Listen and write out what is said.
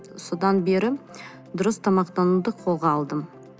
содан бері дұрыс тамақтануды қолға алдым